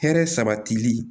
Hɛrɛ sabatili